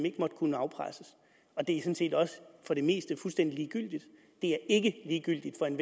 ikke må kunne afpresses for det meste fuldstændig ligegyldigt det er ikke ligegyldigt for en